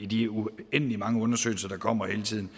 de uendelig mange undersøgelser der kommer hele tiden